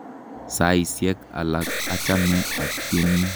Saisyek alak achame atyeni.